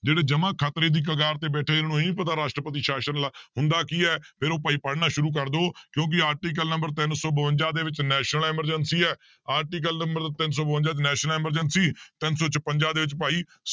ਜਿਹੜੇ ਜਮਾ ਖਤਰੇ ਦੀ ਕਗਾਰ ਤੇ ਬੈਠੇ, ਜਿਹਨੂੰ ਇਹ ਨੀ ਪਤਾ ਰਾਸ਼ਟਰਤੀ ਸ਼ਾਸ਼ਨ ਹੁੰਦਾ ਕੀ ਹੈ ਫਿਰ ਉਹ ਭਾਈ ਪੜ੍ਹਨਾ ਸ਼ੁਰੂ ਕਰ ਦਓ ਕਿਉਂਕਿ article number ਤਿੰਨ ਸੌ ਬਵੰਜਾ ਦੇ ਵਿੱਚ national emergency ਹੈ article number ਤਿੰਨ ਸੌ ਬਵੰਜਾ 'ਚ national emergency ਤਿੰਨ ਸੌ ਛਪੰਜਾ ਦੇ ਵਿੱਚ ਭਾਈ